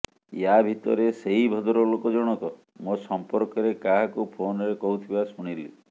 ୟା ଭିତରେ ସେଇ ଭଦ୍ରଲୋକ ଜଣକ ମୋ ସଂପର୍କରେ କାହାକୁ ଫୋନରେ କହୁଥିବା ଶୁଣିଲି